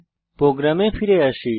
প্রোগ্রামে ফিরে আসি